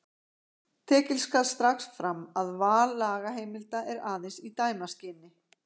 Tekið skal strax fram að val lagaheimilda er aðeins í dæmaskyni.